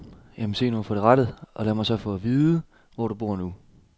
Ja, men se nu at få det rettet, og lad mig så få det at vide, hvor du bor nu.